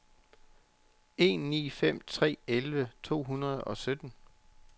en ni fem tre elleve to hundrede og sytten